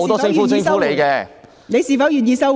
許智峯議員，你是否願意收回？